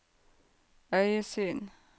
øyesyn